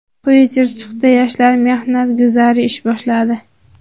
Quyi Chirchiqda yoshlar mehnat guzari ish boshladi.